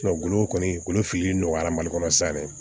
golo kɔni golo filili nɔgɔyara mali kɔnɔ sisan dɛ